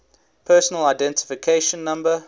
personal identification number